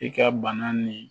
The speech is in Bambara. I ka bana nin